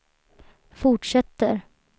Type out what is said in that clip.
fortsätter